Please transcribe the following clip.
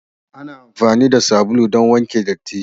Ana amfani da sabulu don wanke datti.